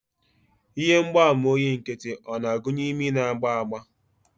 Ihe mgbaàmà oyi nkịtị o na-agụnye imi na-agba agba?